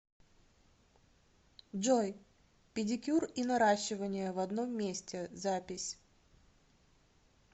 джой педикюр и наращивание в одном месте запись